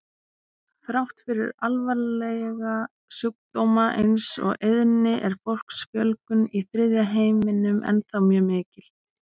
Þrátt fyrir alvarlega sjúkdóma eins og eyðni er fólksfjölgun í þriðja heiminum ennþá mjög mikil.